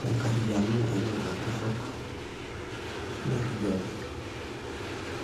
tenkarriyiano elelo ajurrok le enkijiape.